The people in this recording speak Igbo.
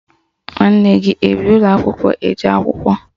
Nwanne gị ebi n'ụlọakwụkwọ eje akwụkwọ?